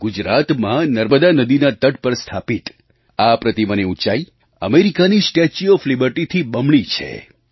ગુજરાતમાં નર્મદા નદીના તટ પર સ્થાપિત આ પ્રતિમાની ઊંચાઈ અમેરિકાની સ્ટેચ્યુ ઓએફ Libertyથી બમણી છે